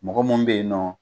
Mɔgɔ minnu bɛ yen nɔ,